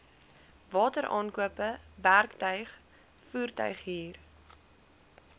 wateraankope werktuig voertuighuur